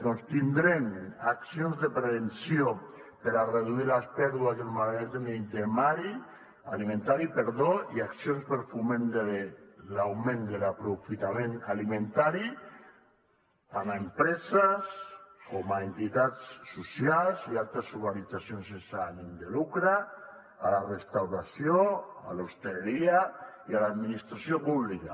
doncs tindrem accions de prevenció per a reduir les pèrdues del malbaratament alimentari i accions de foment de l’augment de l’aprofitament alimentari tant a empreses com a entitats socials i altres organitzacions sense ànim de lucre a la restauració a l’hostaleria i a l’administració pública